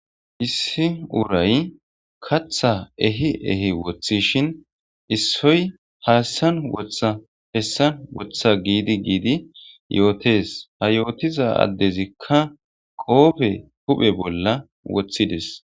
issi uray katha ehi ehi wothishin issoy haassan wotha hessan wotha giidi giidi yootes ha yootiza addezikka qoofe huphe bolla woththides